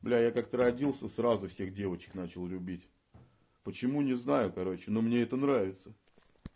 я бля как-то родился сразу всех девочек начал любить почему не знаю короче но мне это нравится